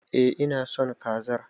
Eh ina son kazar.